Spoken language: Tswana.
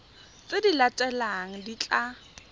tse di latelang di tla